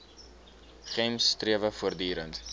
gems strewe voortdurend